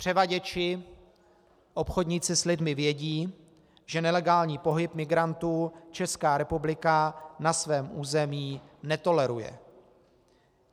Převaděči, obchodníci s lidmi vědí, že nelegální pohyb migrantů Česká republika na svém území netoleruje.